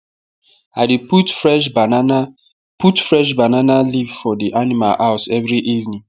i dey put fresh banana put fresh banana leave for the animal house every evening